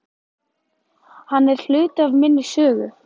Hann er hluti af minni sögu.